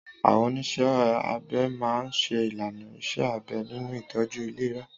Àwọn oníṣẹ́ abẹ máa ń ṣe ìlànà iṣẹ́ abẹ nínú ìtọ́jú ìlera.